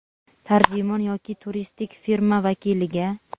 tarjimon yoki turistik firma vakiliga;.